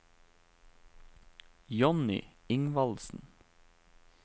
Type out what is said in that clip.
Johnny Ingvaldsen